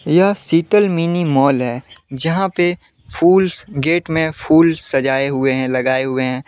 यह Sheetal mini mall है। जहां पे फूलस गेट में फूल सजाए हुए हैं लगाए हुए हैं ।